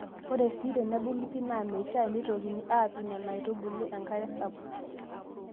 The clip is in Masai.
Ore sii tenebulu pii naa meishaa neitokini aapik Nena aitubulu enkare sapuk.